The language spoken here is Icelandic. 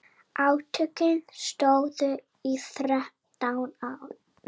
Átökin stóðu í þrjátíu ár.